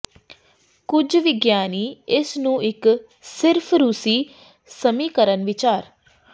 ਕੁਝ ਵਿਗਿਆਨੀ ਇਸ ਨੂੰ ਇੱਕ ਸਿਰਫ਼ ਰੂਸੀ ਸਮੀਕਰਨ ਵਿਚਾਰ